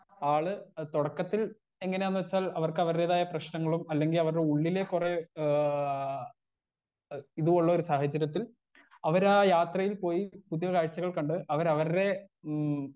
Speaker 1 ആള് തൊടക്കത്തിൽ എങ്ങനാന്നെച്ചാൽ അവർക്ക് അവർടേതായ പ്രശ്നങ്ങളും അല്ലെങ്കി അവർടെ ഉള്ളിലെ കൊറേ ഏ ഇത് ഉള്ളൊരു സാഹചര്യത്തിൽ അവരാ യാത്രയിൽ പോയി പുതിയ കാഴ്ച്ചകൾ കണ്ട് അവർ അവർടെ ഉം.